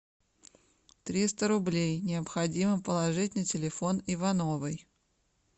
триста рублей необходимо положить на телефон ивановой